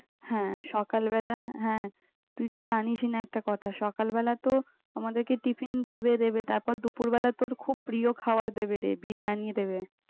হ্যাঁ, সকালবেলা হ্যাঁ। তুই তো জানিসই না একটা কথা সকালবেলা তো আমাদেরকে tiffin দেবে দেবে তারপর, দুপুরবেলা তোর খুব প্রিয় খাবার দেবে রে, বিরিয়ানী দেবে।